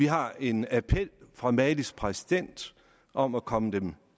har en appel fra malis præsident om at komme dem